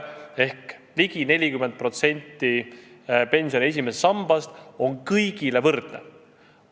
Ehk siis ligi 40% pensioni esimesest sambast on kõigil võrdne.